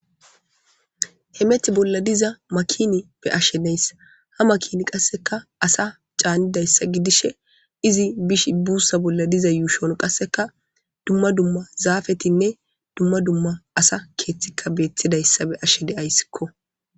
hemethi bolla diza makini be'ashshe neys ha makini qasseka asa caanidayssa gidishe izi bish buussa bolla diza yuushon qasseka dumma dumma zaafetinne dumma dumma asa keeththikka beettidayssa be'ashe de'ayssikko